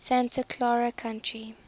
santa clara county